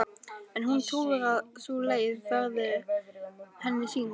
En hún trúir að sú leið verði henni sýnd.